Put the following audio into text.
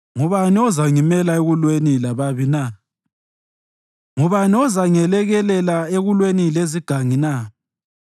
Ngubani ozangimela ekulweni lababi na? Ngubani ozangelekelela ekulweni lezigangi na?